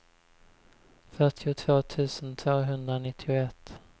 fyrtiotvå tusen tvåhundranittioett